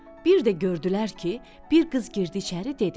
Bir də gördülər ki, bir qız girdi içəri, dedi: